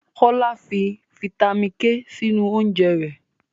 Kolaw fi fítámìnì K sínú oúnjẹ rẹ̀